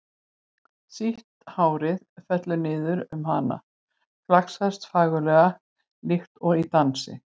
Sítt hárið fellur niður um hana, flaksast fagurlega líkt og í dansi.